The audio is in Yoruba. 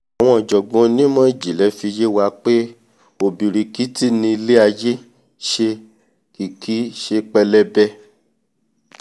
àwọn ọ̀jọ̀gbọ́n onímọ̀jìnlẹ̀ ti fi yé wa pé ọ̀bìrìkìtì ni ilé-aiyé nṣe kìí kìí ṣe pẹlẹbẹ